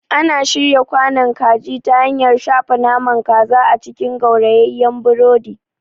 Ana shirya kwanon kaji ta hanyar shafa naman kaza a cikin gaurayeyen burodi.